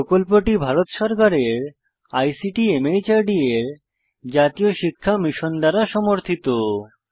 এই প্রকল্পটি ভারত সরকারের আইসিটি মাহর্দ এর জাতীয় শিক্ষা মিশন দ্বারা সমর্থিত